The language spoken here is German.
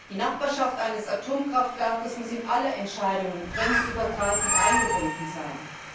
Die Nachbarschaft eines Atomkraftwerks muss in alle Entscheidungen grenzübergreifend eingebunden sein.